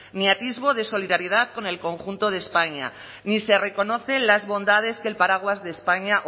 ni atisbo de solidaridad con el conjunto de españa ni se reconocen las bondades que el paraguas de españa